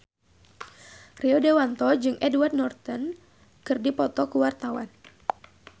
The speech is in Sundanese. Rio Dewanto jeung Edward Norton keur dipoto ku wartawan